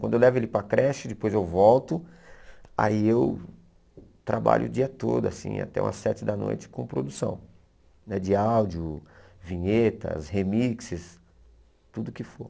Quando eu levo ele para a creche, depois eu volto, aí eu trabalho o dia todo, assim até umas sete da noite com produção, né de áudio, vinhetas, remixes, tudo que for.